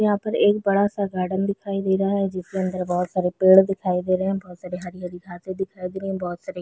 यहाँ पर एक बड़ा-सा गार्डन दिखाई दे रहा है जिसके अंदर बहोत सारे पेड़ दिखाई दे रहे है बहोत सारे हरी-हरी घासे दिखाई दे रहे है बहोत सारे--